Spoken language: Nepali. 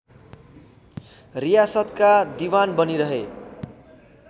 रियासतका दिवान बनिरहे